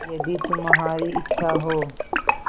यदि तुम्हारी इच्छा हो